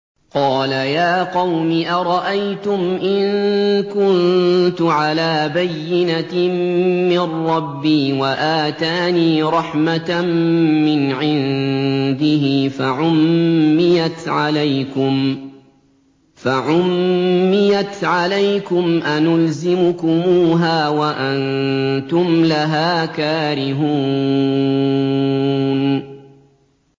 قَالَ يَا قَوْمِ أَرَأَيْتُمْ إِن كُنتُ عَلَىٰ بَيِّنَةٍ مِّن رَّبِّي وَآتَانِي رَحْمَةً مِّنْ عِندِهِ فَعُمِّيَتْ عَلَيْكُمْ أَنُلْزِمُكُمُوهَا وَأَنتُمْ لَهَا كَارِهُونَ